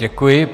Děkuji.